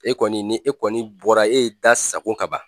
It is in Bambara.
E kɔni ni e kɔni bɔra e ye da sago ka ban